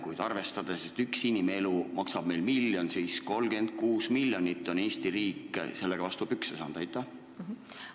Kui arvestada, et üks inimelu maksab meil miljon eurot, siis Eesti riik on suitsetamise tõttu vastu pükse saanud 36 miljoni euroga.